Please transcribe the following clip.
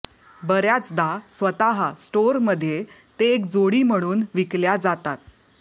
बर्याचदा स्वतः स्टोअरमध्ये ते एक जोडी म्हणून विकल्या जातात